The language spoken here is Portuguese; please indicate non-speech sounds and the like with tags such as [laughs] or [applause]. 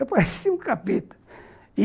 Eu [laughs] parecia um capeta e